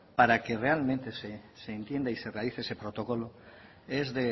para que realmente se entienda y se realice ese protocolo es